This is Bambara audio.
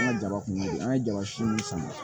An ka jaba kun bɛ ye an ye jaba si min sama